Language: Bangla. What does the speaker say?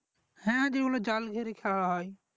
হ্যা যেগুলো জাল ঘেরে খেলা হয়